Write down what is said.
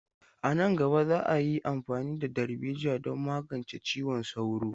A nan gaba, za a yi amfani da darbejiya don magance ciwon sauro.